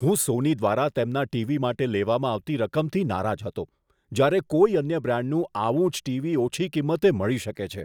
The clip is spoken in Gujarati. હું સોની દ્વારા તેમના ટીવી માટે લેવામાં આવતી રકમથી નારાજ હતો, જ્યારે કોઈ અન્ય બ્રાન્ડનું આવું જ ટીવી ઓછી કિંમતે મળી શકે છે.